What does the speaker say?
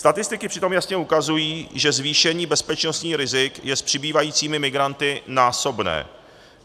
Statistiky přitom jasně ukazují, že zvýšení bezpečnostních rizik je s přibývajícími migranty násobné.